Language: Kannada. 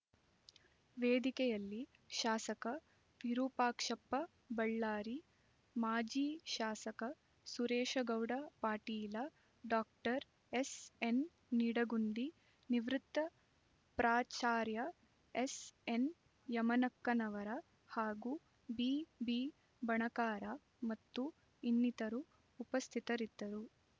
ವೇದಿಕೆಯಲ್ಲಿ ಶಾಸಕ ವಿರೂಪಾಕ್ಷಪ್ಪ ಬಳ್ಳಾರಿ ಮಾಜಿ ಶಾಸಕ ಸುರೇಶಗೌಡ ಪಾಟೀಲ ಡಾಕ್ಟರ್ ಎಸ್ಎನ್ನಿಡಗುಂದಿ ನಿವೃತ್ತ ಪ್ರಾಚಾರ್ಯ ಎಸ್ಎನ್ಯಮನಕ್ಕನವರ ಹಾಗೂ ಬಿಬಿಬಣಕಾರ ಮತ್ತು ಇನ್ನಿತರು ಉಪಸ್ಥಿತರಿದ್ದರು